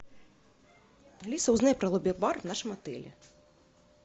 алиса узнай про лобби бар в нашем отеле